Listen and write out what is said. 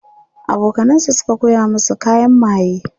abokanan sa Suka koya masa kayan maye